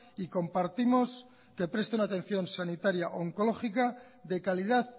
y compartimos que presten atención sanitaria oncológica de calidad